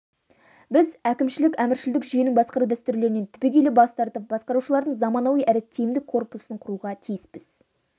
біз әкімшілік-әміршілдік жүйенің басқару дәстүрлерінен түбегейлі бас тартып басқарушылардың заманауи әрі тиімді корпусын құруға тиіспіз